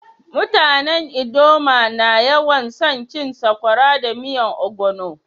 Mutanen ldoma na yawan so cin sakwara da miyan ogbono.